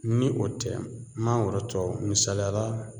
Ni o tɛ mangoro tɔw misaliya la